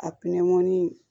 A pinɛmɔni